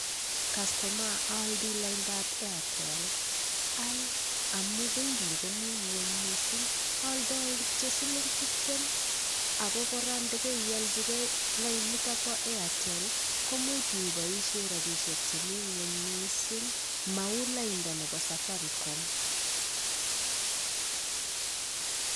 Customaa oldoi laida nebo airtel, al amun bei nyin komii ngueny missing oldoi kityok siling tiptem ako koraa indo keiolji gee laida niton bo airtel koimuch inyo iboishen rabishek chemii ngueny missing mou laida nebo safaricom.